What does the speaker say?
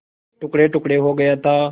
टुकड़ेटुकड़े हो गया था